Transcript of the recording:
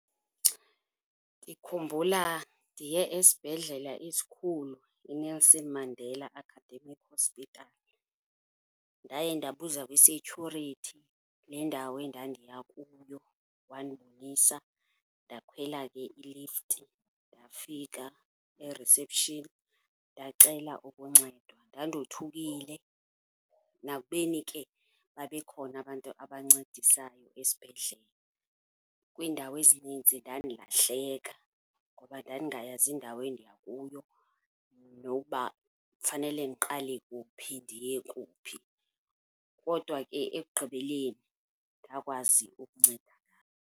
Ndikhumbula ndiye esibhedlela esikhulu, iNelson Mandela Academic Hospital. Ndaye ndabuza kwi-security le ndawo endandiya kuyo, wandibonisa ndakhwela ke ilifti, ndafika e-reception ndacela ukuncedwa. Ndandothukile nakubeni ke babekhona abantu abancedisayo esibhedlele. Kwiindawo ezinintsi ndandilahleka ngoba ndandingayazi indawo endiya kuyo nokuba fanele ndiqale kuphi ndiye kuphi, kodwa ke ekugqibeleni ndakwazi ukuncedakala.